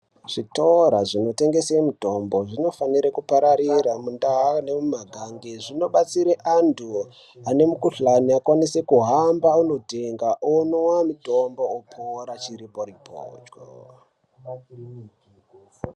Zvitoro zvinotengesa mitombo zvinofana kupararira mundaa nemumagange zvinobatsira antu ane mikuhlani akwanise kuhamba kunotenga omwa mutombo okwanise kupora chiripo ripocho.